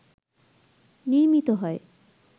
নির্মিত হয়